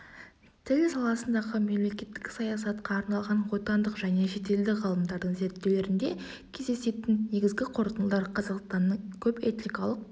тіл саласындағы мемлекеттік саясатқа арналған отандық және шетелдік ғалымдардың зерттеулерінде кездесетін негізгі қорытындылар қазақстанның көпэтникалық